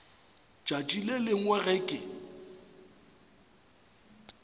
tšatši le lengwe ge ke